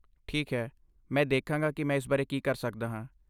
ਠੀਕ ਹੈ, ਮੈਂ ਦੇਖਾਂਗਾ ਕਿ ਮੈਂ ਇਸ ਬਾਰੇ ਕੀ ਕਰ ਸਕਦਾ ਹਾਂ।